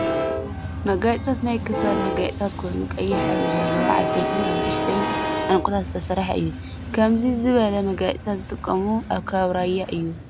መጋየፂታት፦ ናይ ክሳድ መጋየፂታት ኮይኖ ቀይሕ ሕብሪ ዘለዎም ዓበይትን ኣናእሽትን ዕንቁታት ዝተሰርሐ እዩ። ከምዙይ ዝበሉ መጋየፅታት ዝጥቀሙ ኣበ ከባቢ ራያ እዩ።